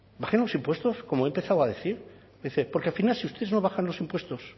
bajen los impuestos como he empezado a decir porque al final si ustedes no bajan los impuestos